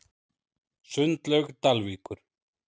Sundlaug Dalvíkur